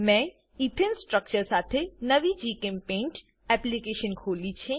મેં ethane structure સાથે નવી જીચેમ્પેઇન્ટ એપ્લીકેશન ખોલી છે